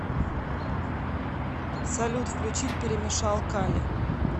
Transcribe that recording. салют включить перемешал кали